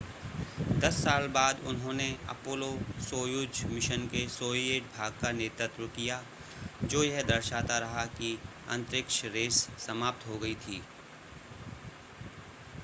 दस साल बाद उन्होंने अपोलो-सोयुज़ मिशन के सोविएट भाग का नेतृत्व किया जो यह दर्शाता रहा कि अंतरिक्ष रेस समाप्त हो गई थी